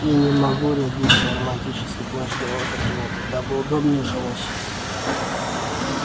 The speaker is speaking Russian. и не могу рядиться в романтический плащ героя-патриота дабы удобнее жилось